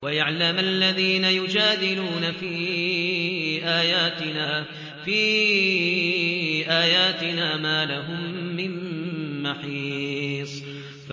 وَيَعْلَمَ الَّذِينَ يُجَادِلُونَ فِي آيَاتِنَا مَا لَهُم مِّن مَّحِيصٍ